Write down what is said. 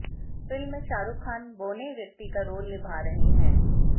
film में शाहरुख खान बौने व्यक्ति का रोल निभा रहे हैं